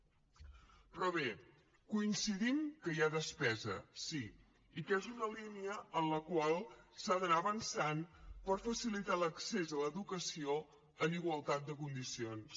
però bé coincidim que hi ha despesa sí i que és una línia en la qual s’ha d’anar avançant per facilitar l’accés a l’educació en igualtat de condicions